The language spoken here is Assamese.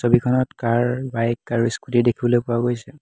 ছবিখনত কাৰ বাইক আৰু স্কুটি দেখিবলৈ পোৱা গৈছে।